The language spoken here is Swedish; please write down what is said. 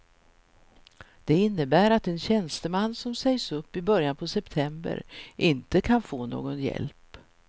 Det innebär att en tjänsteman som sägs upp i början på september inte kan få någon hjälp.